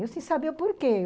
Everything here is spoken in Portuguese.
Eu sem saber o porquê.